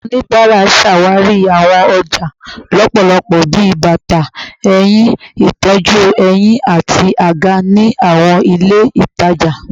Awọn onibara ṣawari awọn ọja lọpọlọpọ bi bata, ehin, itọju ehín, ati aga ni awọn ile itaja